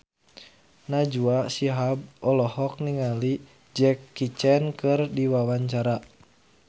Najwa Shihab olohok ningali Jackie Chan keur diwawancara